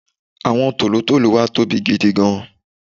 àwọn tòlótòló wa tóbi gidigan